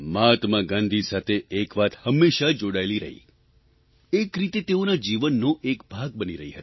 મહાત્મા ગાંધી સાથે એક વાત હંમેશા જોડાયેલી રહી એક રીતે તેઓના જીવનનો એક ભાગ બની રહી